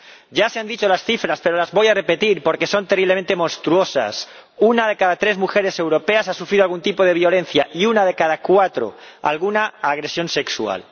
Ya se han dicho las cifras, pero las voy a repetir porque son terriblemente monstruosas una de cada tres mujeres europeas ha sufrido algún tipo de violencia y una de cada cuatro, alguna agresión sexual.